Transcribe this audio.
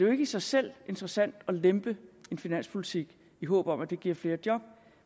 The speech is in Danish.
ikke i sig selv interessant at lempe en finanspolitik i håb om at det giver flere job